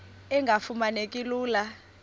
engafuma neki lula